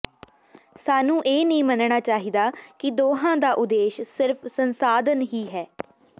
ਸਾਨੂੰ ਇਹ ਨਹੀਂ ਮੰਨਣਾ ਚਾਹੀਦਾ ਕਿ ਦੋਹਾਂ ਦਾ ਉਦੇਸ਼ ਸਿਰਫ਼ ਸੰਸਾਧਨ ਹੀ ਹੈ